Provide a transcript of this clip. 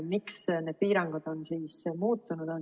Miks need piirangud on muutunud?